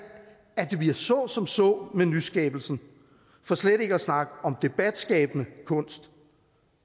at det bliver så som så med nyskabelsen for slet ikke at snakke om debatskabende kunst